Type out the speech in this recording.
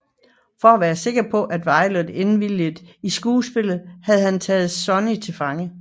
For at være sikker på at Violet indviliger i skuespillet har han taget Sunny til fange